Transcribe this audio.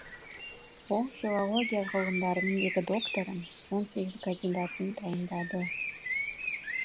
ол филология ғылымдарының екі докторын он сегіз кандидатын дайындады